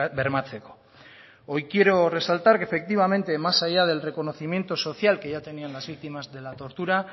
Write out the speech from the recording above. bermatzeko hoy quiero resaltar que efectivamente más allá del reconocimiento social que ya tenían las víctimas de la tortura